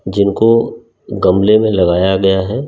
जिनको गमले में लगाया गया है।